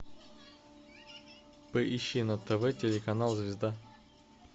поищи на тв телеканал звезда